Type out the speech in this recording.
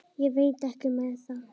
Ég veit ekki með það.